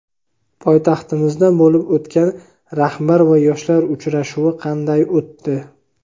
Poytaxtimizda bo‘lib o‘tgan rahbar va yoshlar uchrashuvi qanday o‘tdi?.